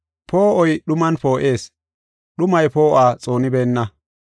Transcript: Poo7oy dhuman poo7ees; dhumay poo7uwa xoonibeenna.